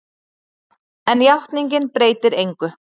En játningin breytir engu.